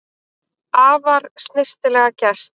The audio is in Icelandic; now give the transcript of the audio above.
Afar snyrtilega gert